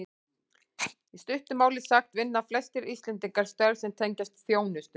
Í stuttu máli sagt vinna flestir Íslendingar störf sem tengjast þjónustu.